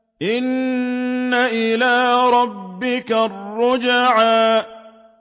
إِنَّ إِلَىٰ رَبِّكَ الرُّجْعَىٰ